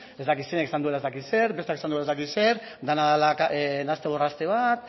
ez dakit zeinek esan duela ez dakit zer besteak esan duela ez dakit zer dena dela nahaste borraste bat